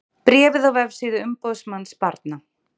Bréfið á vefsíðu umboðsmanns barna